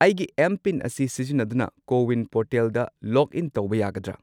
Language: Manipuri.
ꯑꯩꯒꯤ ꯑꯦꯝ.ꯄꯤꯟ.ꯑꯁꯤ ꯁꯤꯖꯤꯟꯅꯗꯨꯅ ꯀꯣ ꯋꯤꯟ ꯄꯣꯔꯇꯦꯜꯗ ꯂꯣꯒꯏꯟ ꯇꯧꯕ ꯌꯥꯒꯗ꯭ꯔꯥ?